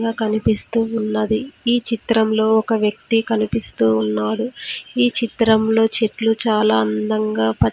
--గా కనిపిస్తూ ఉన్నది ఈ చిత్రంలో ఒక వ్యక్తి కనిపిస్తూ ఉన్నారు ఈ చిత్రంలో చెట్లు చాలా అందంగా ప--